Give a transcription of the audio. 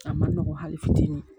A ma nɔgɔ hali fitinin